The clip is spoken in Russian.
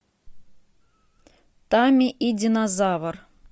тамми и динозавр